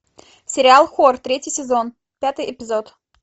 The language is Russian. сериал хор третий сезон пятый эпизод